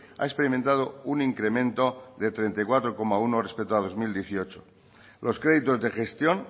ha experimentado un incremento de treinta y cuatro coma uno respecto a dos mil dieciocho los créditos de gestión